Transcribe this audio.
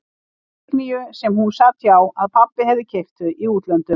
Signýju sem hún sat hjá, að pabbi hefði keypt þau í útlöndum.